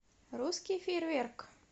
русский фейерверк